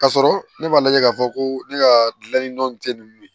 K'a sɔrɔ ne m'a lajɛ k'a fɔ ko ne ka gilanni nɔn tɛ nin ye